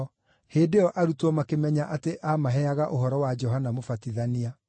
Hĩndĩ ĩyo arutwo makĩmenya atĩ aamaheaga ũhoro wa Johana Mũbatithania.